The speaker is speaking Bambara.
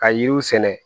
Ka yiriw sɛnɛ